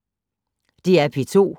DR P2